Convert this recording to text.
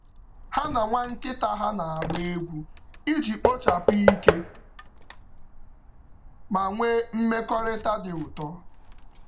Ha na nwa nkịta nkịta ha na-agba egwu iji kpochapụ um ike um ma nwee mmekọrịta dị ụtọ.